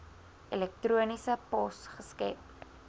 elektroniese pos geskep